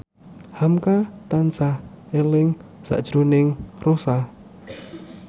hamka tansah eling sakjroning Rossa